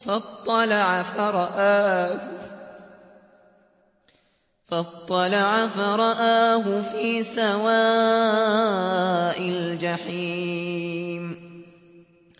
فَاطَّلَعَ فَرَآهُ فِي سَوَاءِ الْجَحِيمِ